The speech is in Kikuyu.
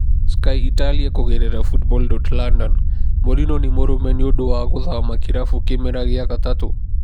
(Sky Italia via Football. London) Mourinho nĩ mũrume nĩũndũ wa gũthama kĩrabu kĩmera gĩa gatatũ?